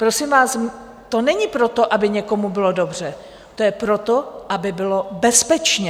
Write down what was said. Prosím vás, to není proto, aby někomu bylo dobře, to je proto, aby bylo bezpečně.